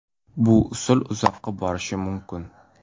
Bu usul uzoqqa borishi mumkin.